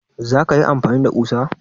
Za ka yi amfani da kusa?